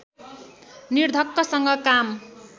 निर्धक्कसँग काम